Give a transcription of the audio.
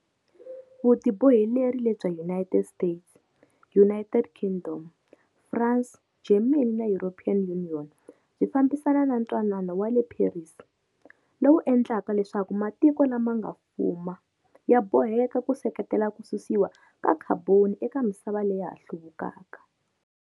Vutiboheleri lebya United States, United Kingdom, France, Germany na European Union byi fambisana na Ntwanano wa le Paris, lowu endlaka leswaku matiko lama nga fuma ya boheka ku seketela ku susiwa ka khaboni eka misava leya ha hluvukaka.